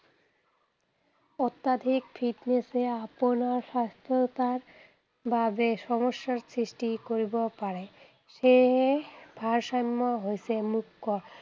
অত্যধিক fitness এ আপোনাৰ স্বাস্থ্যতাৰ বাবে সমস্যাৰ সৃষ্টি কৰিব পাৰে। সেয়েহে ভাৰসাম্য হৈছে মুখ্য